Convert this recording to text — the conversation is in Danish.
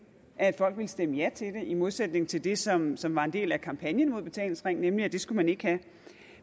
at folk ville stemme ja til det i modsætning til det som som var en del af kampagnen mod betalingsringen nemlig at det skulle man ikke have